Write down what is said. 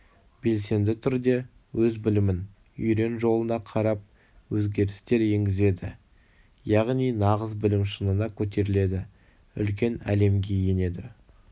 белсенді түрде өз білімін үйрен жолына қарап өзгерістер енгізеді яғни нағыз білім шыңына көтеріледі үлкен әлемге енеді